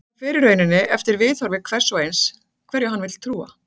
Það fer í rauninni eftir viðhorfi hvers og eins hverju hann vill trúa.